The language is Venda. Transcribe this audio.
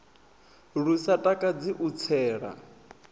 lu sa takadzi u tsela